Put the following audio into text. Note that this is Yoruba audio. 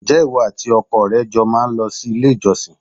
Ǹjẹ́ ìwọ àti ọkọ rẹ jọ má ń lọ sí ilé-ìjọsìn?